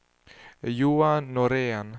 Johan Norén